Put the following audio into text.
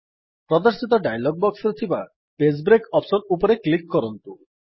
ପ୍ରଦର୍ଶିତ ଡାୟଲଗ୍ ବକ୍ସରେ ଥିବା ପେଜ୍ ବ୍ରେକ୍ ବଟନ୍ ଉପରେ କ୍ଲିକ୍ କରନ୍ତୁ